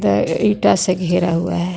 त अ इटा से घेरा हुआ है.